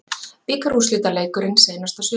Bikarúrslitaleikurinn seinasta sumar